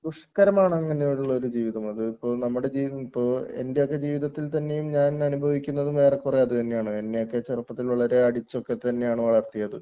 ദുഷ്കരമാണ് അങ്ങനെയുള്ള ഒരു ജീവിതം അത് ഇപ്പോൾ നമ്മുടെ ജീവിതം ഇപ്പോ എൻറെ ഒക്കെ ജീവിതത്തിൽ തന്നെയും ഞാൻ അനുഭവിക്കുന്നത് ഏറെക്കുറെ അതുതന്നെയാണ്‌ എന്നെയൊക്കെ ചെറുപ്പത്തിൽ വളരെ അടിച്ചൊക്കെ തന്നെയാണ് വളർത്തിയത്